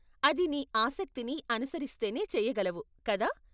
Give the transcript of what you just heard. అది నీ ఆసక్తిని అనుసరిస్తేనే చెయ్యగలవు, కదా?